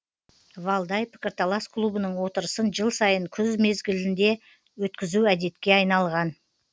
валдай пікірталас клубының отырысын жыл сайын күн мезгілінде өткізу әдетке айналған